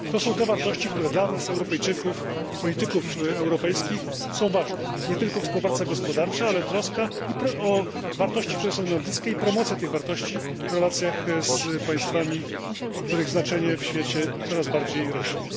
To są te wartości, które dla nas Europejczyków, europejskich polityków, są ważne nie tylko współpraca gospodarcza, ale troska o wartości, które nam są bliskie i promocja tych wartości w relacjach z państwami, których znaczenie w świecie coraz bardziej rośnie.